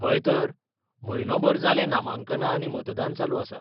हय तर, म्हयनोभर जालें नामांकनां आनी मतदान चालू आसा.